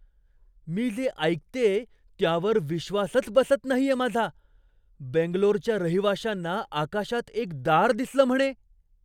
मी जे ऐकतेय त्यावर विश्वासच बसत नाहीये माझा! बेंगलोरच्या रहिवाशांना आकाशात एक दार दिसलं म्हणे!